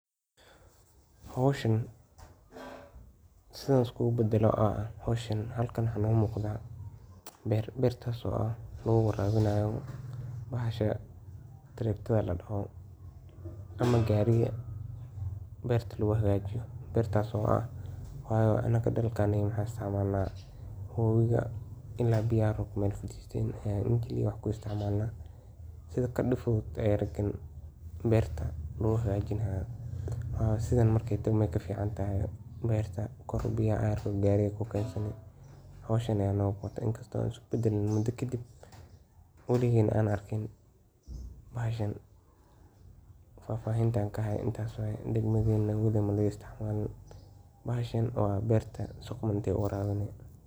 Howshan sidan iskugu badalo oo ah halkan waxa noga muqda beer. Beertaso ah oo lagu warabinayo bahasha taraktada ama gariga beerta lagu hagajiyo kaso wayo anaka dhalka nagi waxan isticmalna wabiga ila biyaha meel faristen waxan ku isticmalna sidha kadib fudud beerta lagu hagajini karo sidhan markey tahay ayey ka fican tahay beerta kor biyaha ayarko gariga ku kensadho howshan aya noo muqata inkasto an isku badalin mudoo kadib waligeyna aan arkin bahashan fafahinta aan ka hayo intas waye degmadena waliged malaga istic malin bahashan waa beerta si quman bey u warabini.